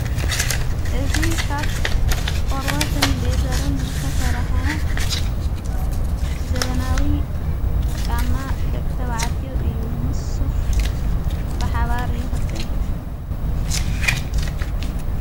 እዙ ኻብ ቆርበትን ሌዘርን ዘተሠርሐ ዘበናዊ ጫማ ደቂ ተባዕትዮ እዩ ምስ ሱፍ ብሓባር ይኽድን፡፡